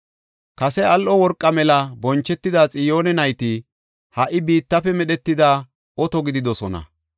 Kase al7o worqa mela bonchetida Xiyoone nayti ha77i biittafe medhetida oto gididosona.